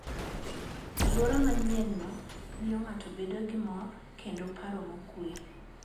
Alwora manyienno miyo ng'ato bedo gi mor kendo paro mokuwe.